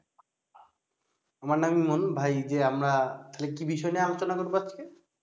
আমার নাম ইমন, ভাই যে আমরা তাহলে কি বিষয় নিয়ে আলোচনা করবো আজকে?